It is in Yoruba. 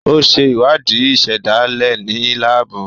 O ṣe ìwádìí ìsèdálè ní laabu.